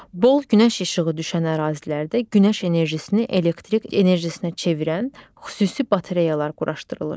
Bol günəş işığı düşən ərazilərdə günəş enerjisini elektrik enerjisinə çevirən xüsusi batareyalar quraşdırılır.